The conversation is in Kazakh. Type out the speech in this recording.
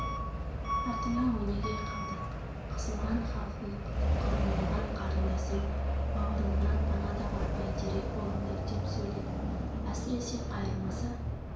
артыңа өнеге қалдыр қысылған халқың қаумалаған қарындасың бауырыңнан пана табар бәйтерек болыңдар деп сөйледі әсіресе қайырмасы